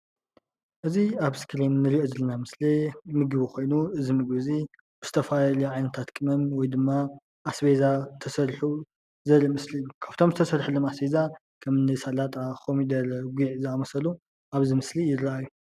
እዚ ኣብ እስክሪን እንሪኦ ዘለና ምስሊ ምግቢ ኮይኑ እዚ ምግቢ እዙይ ዝተፈላለዩ ዓይነታት ቅመም ወይ ድማ ኣስቤዛ ተሰሪሑ ዘርኢ ምስሊ እዩ፡፡ ካብቶም ዝተሰርሕሎም ኣስቤዛ ከም እኒ ሰላጣ፣ ጉዕ፣ ኮሚደረ ዝኣምሰሉ ኣብዚ ምስሊ ይረአዩ፡፡